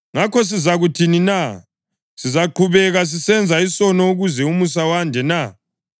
Ngakho, sizakuthini na? Sizaqhubeka sisenza isono ukuze umusa wande na?